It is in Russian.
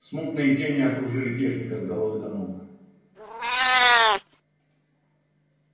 смутные тени окружили техника с головы до ног